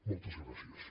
moltes gràcies